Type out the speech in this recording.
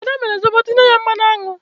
Ad mere Zobo tinye ya mmanụ aṅụ.